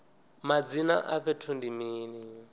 madzina a fhethu ndi mini